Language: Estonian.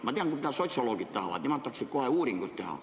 Ma tean, mida sotsioloogid tahavad: nemad tahaksid kohe uuringut teha.